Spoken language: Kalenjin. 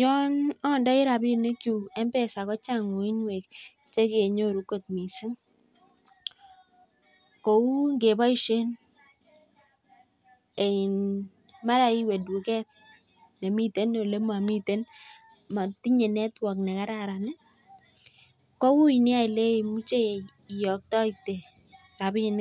Yon andai rabishek chun kochang uinwek chekenyoruu missing kou iwee tuket netinyee ( network) nemakararan komuch iyote eng